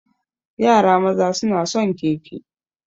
Yara maza suna son keke.